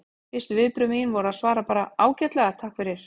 Fyrstu viðbrögð mín voru að svara bara: Ágætlega, takk fyrir